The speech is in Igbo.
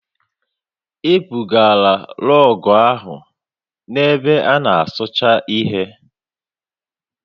E bugara rọọgụ ahụ na ebe a na-asụcha ihe